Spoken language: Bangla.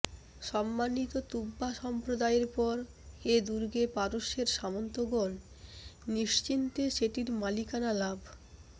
সম্মানিত তুব্বা সম্প্রদায়ের পর এ দুর্গে পারস্যের সামন্তগণ নিশ্চিন্তে সেটির মালিকানা লাভ